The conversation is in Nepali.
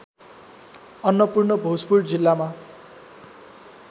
अन्नपूर्ण भोजपुर जिल्लामा